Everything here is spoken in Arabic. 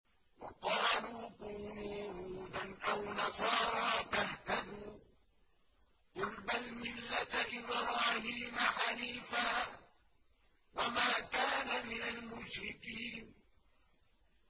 وَقَالُوا كُونُوا هُودًا أَوْ نَصَارَىٰ تَهْتَدُوا ۗ قُلْ بَلْ مِلَّةَ إِبْرَاهِيمَ حَنِيفًا ۖ وَمَا كَانَ مِنَ الْمُشْرِكِينَ